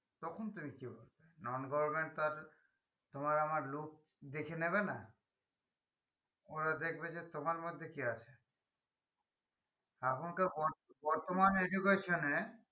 তখন তুমি কি করবে non government তো আর তোমার আমার look দেখে নেবে না ওরা দেখবে যে তোমার মধ্যে কি আছে এখনকার বর্ত~বর্তমান education এ